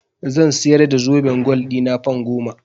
Zan siyar da zoben gwal ɗina fan goma.